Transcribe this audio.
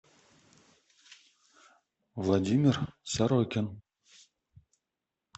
владимир сорокин